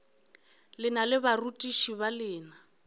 lena le barutiši ba lena